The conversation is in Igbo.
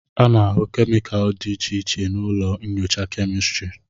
A na-ahụ kemịkalụ dị iche iche na ụlọ nyocha kemịstri